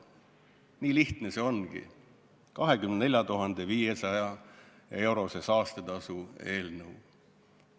Nii lihtne see ongi, see 24 500 euro suuruse saastetasu eelnõu.